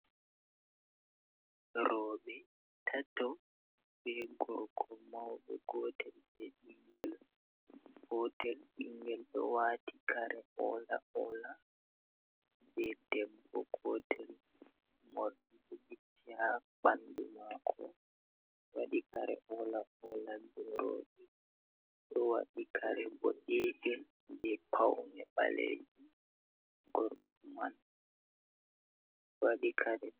Roɓe tato, be gorgo mauɗo gotel be ɓingel gotel, ɓingel ɗo wati kare ola ola be dembo gotel mori bo jita ɓandu mako waɗi kare ola ola, be roɓe ɗo waɗi kare bo danejum be paune ɓalejum, gorko man waɗi kare.